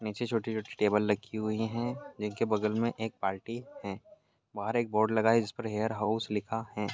नीचे छोटी छोटी टेबल लगी हुई है जिनके बगल में एक बाल्टी है बहार एक बोर्ड लगा है जिसपर हेयर हाउस लिखा है।